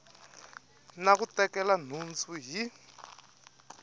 na ku tekela nhundzu hi